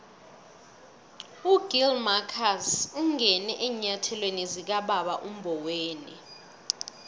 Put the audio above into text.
ugill marcus ungene eenyathelweni zikababa umboweni